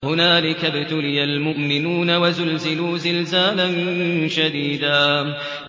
هُنَالِكَ ابْتُلِيَ الْمُؤْمِنُونَ وَزُلْزِلُوا زِلْزَالًا شَدِيدًا